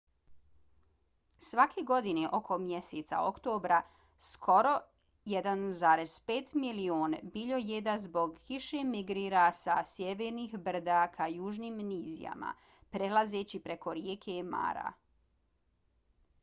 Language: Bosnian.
svake godine oko mjeseca oktobra skoro 1,5 milion biljojeda zbog kiše migrira sa sjevernih brda ka južnim nizijama prelazeći preko rijeke mara